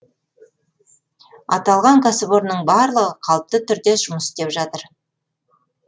аталған кәсіпорынның барлығы қалыпты түрде жұмыс істеп жатыр